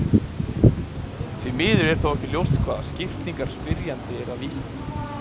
Því miður er þó ekki ljóst hvaða skiptingar spyrjandi er að vísa til.